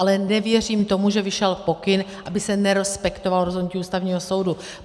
Ale nevěřím tomu, že vyšel pokyn, aby se nerespektovalo rozhodnutí Ústavního soudu.